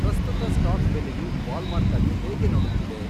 ಪ್ರಸ್ತುತ ಸ್ಟಾಕ್ ಬೆಲೆಯು ವಾಲ್ಮಾರ್ಟ್ ಅನ್ನು ಹೇಗೆ ನೋಡುತ್ತಿದೆ